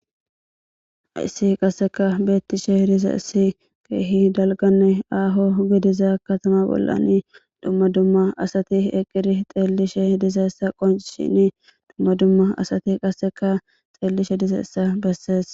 Issi qasseka beettishe hidiza issi keehi dalgane aaho gidiza katama bollan dumma dumma asati eqqiri xeellishe idiza ssa qonshini dumma dumma asati qasseka xeellishe diza issa bessees